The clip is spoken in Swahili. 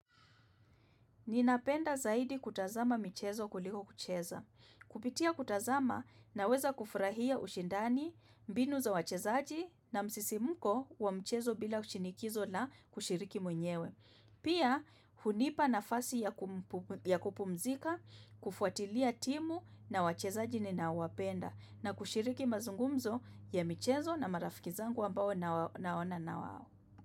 Ninapenda zaidi kutazama michezo kuliko kucheza. Kupitia kutazama naweza kufurahia ushindani, mbinu za wachezaji na msisimko wa mchezo bila shinikizo la kushiriki mwenyewe. Pia, hunipa nafasi ya kupumzika, kufuatilia timu na wachezaji ninaowapenda na kushiriki mazungumzo ya michezo na marafiki zangu ambao naona na wao.